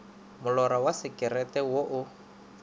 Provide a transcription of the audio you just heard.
molora wa sekerete wo o